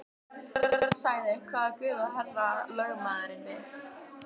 Björn sagði: Hvaða guð á herra lögmaðurinn við.